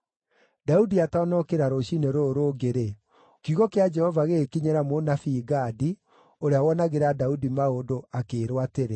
Daudi atanokĩra rũciinĩ rũrũ rũngĩ-rĩ, kiugo kĩa Jehova gĩgĩkinyĩra mũnabii Gadi, ũrĩa wonagĩra Daudi maũndũ, akĩĩrwo atĩrĩ: